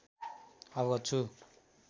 अवगत छु